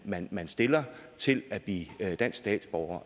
man man stiller til at blive dansk statsborger